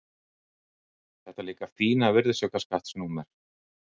Þetta líka fína virðisaukaskattsnúmer.